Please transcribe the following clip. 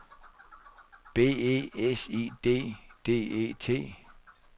B E S I D D E T